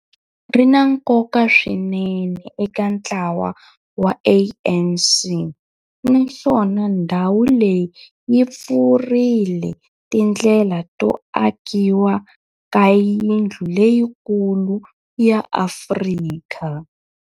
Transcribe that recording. ri na nkoka swinene eka ntlawa wa ANC, naswona ndhawu leyi yi pfurile tindlela to akiwa ka yindlu leyikulu ya Afrika